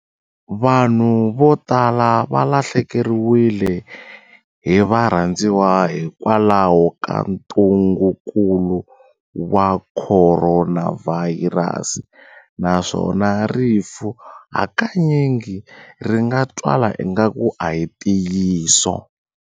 Vanhu vo tala va lahlekeriwile hi varhandziwa hikwalaho ka ntungukulu wa Khoronavhayirasi naswona rifu hakanyingi ri nga twala ingaku a hi ntiyiso.